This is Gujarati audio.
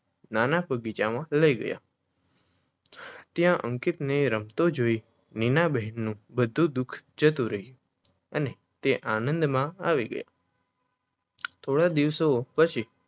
નાના બગીચામાં લાય ગયા. ત્યાં અંકિતને રમતો જોઈ નીનાબહેનનું બધું દુઃખ જતું રહ્યું અને તે આંદમા આવી ગયા થોડા દિવસો પછી